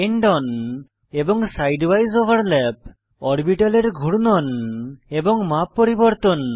end on এবং side উইসে overlap অরবিটালের ঘূর্ণন এবং মাপ পরিবর্তন